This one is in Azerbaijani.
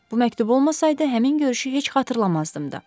Bu məktub olmasaydı, həmin görüşü heç xatırlamazdım da.